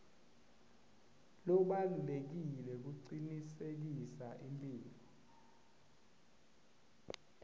lobalulekile kucinisekisa imphilo